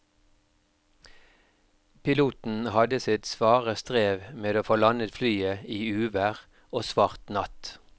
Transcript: Piloten hadde sitt svare strev med å få landet flyet i uvær og svart natt.